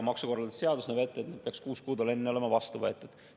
Maksukorralduse seadus näeb ette, et need peaks kuus kuud enne olema vastu võetud.